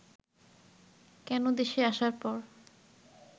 কেন দেশে আসার পর